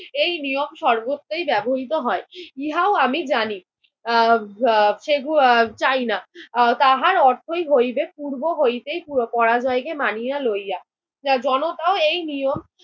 এই নিয়ম সর্বত্রই ব্যবহৃত হয়। ইহাও আমি জানি আহ আহ সেগুলো আহ চাইনা। তাহার অর্থই হইবে পূর্ব হইতে পরাজয়কে মানিয়া লইয়া। জনতাও এই নিয়ম